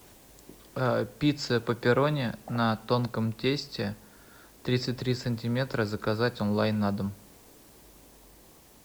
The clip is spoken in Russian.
пицца пепперони на тонком тесте тридцать три сантиметра заказать онлайн на дом